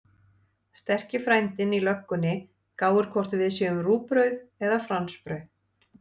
Sterki frændinn í löggunni gáir hvort við séum rúgbrauð eða fransbrauð.